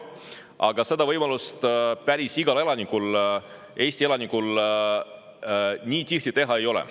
Aga seda võimalust päris igal Eesti elanikul nii tihti ei ole.